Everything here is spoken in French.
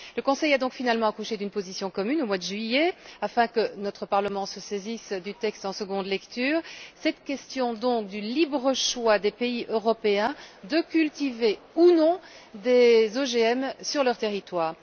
Le Conseil a donc finalement accouché d'une position commune au mois de juillet afin que notre Parlement se saisisse en seconde lecture de ce texte relatif à la question du libre choix des pays européens de cultiver ou non des OGM sur leur territoire.